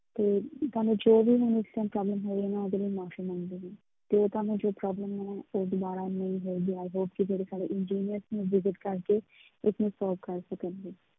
ਤੇ ਤੁਹਾਨੂੰ ਜੋ ਵੀ ਇਸ time problem ਹੋ ਰਹੀ ਆ ਉਹਦੇ ਲਈ ਮਾਫ਼ੀ ਮੰਗਦੀ ਹਾਂ, ਤੇ ਤੁਹਾਨੂੰ ਜੋ problem ਹੈ, ਉਹ ਦੁਬਾਰਾ ਨਹੀਂ ਹੋਏਗੀ i hope ਕਿ ਜਿਹੜੇ ਸਾਡੇ engineer ਨੇ visit ਕਰਕੇ ਇਸਨੂੰ solve ਕਰ ਸਕਣਗੇ।